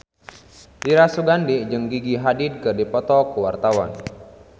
Dira Sugandi jeung Gigi Hadid keur dipoto ku wartawan